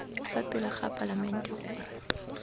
fa pele ga palamente gore